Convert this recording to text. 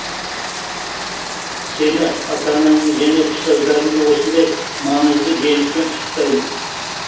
сені ата анаңды және ұстаздарыңды осындай маңызды жеңіспен құттықтаймын